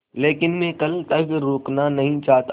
लेकिन मैं कल तक रुकना नहीं चाहता